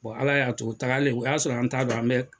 ala y'a to u taagalen o y'a sɔrɔ an ta dɔn an bɛɛ.